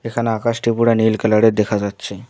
এখানে আকাশটি উপরে নীল কালার -এর দেখা যাচ্ছে।